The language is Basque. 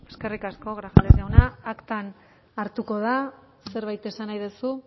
eskerrik asko grajales jauna aktan hartuko da zerbait esan nahi duzu